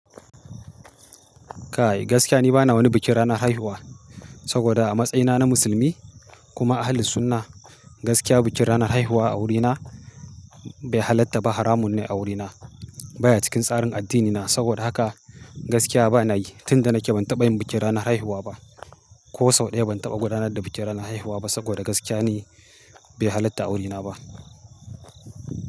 Kai, gaskiya ni ba na wani bikin ranar haihuwa, saboda a matsayina na musulmi kuma Ahlul Sunnah, gaskiya bikin ranar haihuwa a wurina bai halatta ba, haramun ne a wurina. Baya cikin tsarin addinina. Saboda haka gaskiya ba na yi, tunda nake ban taɓa yin bikin ranar haihuwa ba. Ko sau ɗaya ban taɓa gudanar da bikin ranar haihuwa ba saboda gaskiya ni bai halatta wuri na ba.